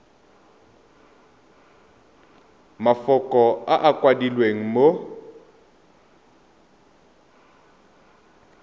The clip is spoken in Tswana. mafoko a a kwadilweng mo